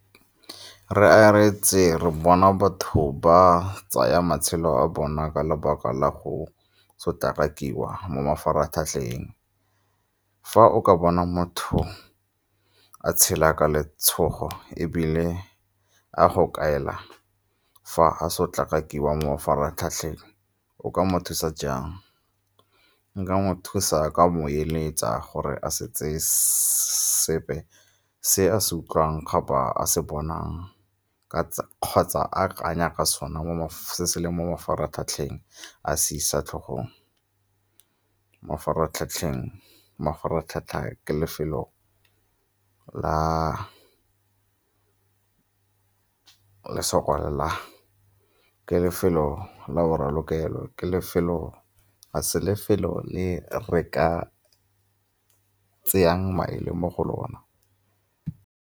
Re aretse re bona batho ba tsaya matshelo a bona ka lebaka la go sotlakakiwa mo mafaratlhatlheng. Fa o ka bona motho a tshela ka letshogo, ebile a go kaela fa a sotlakakiwa mo mafaratlhatlheng o ka mo thusa jang? Nka mo thusa ka mo eletsa gore a se tseye sepe se a se utlwang kapa a se bonang kgotsa a kanya ka sona se leng mo mafaratlhatlheng a se isa tlhogong. Mafaratlhatlha ke lefelo la boralokelo, ga se lefelo le re ka tseyang maele mo go lona.